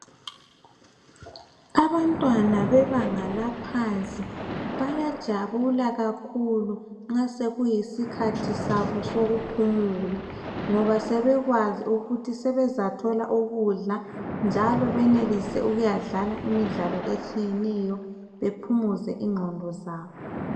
Abantwana bebanga laphansi, bayajabula kakhulu nxa sekuyisikhathi sabo sokuphumula. Ngoba sebekwazi ukuthi sebezathola ukudla, njalo benelise ukuyadlala imidlalo etshiyeneyo. Baphumuze ingqondo zabo.